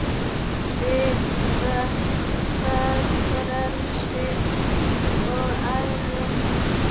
Svipta það frelsi og æru.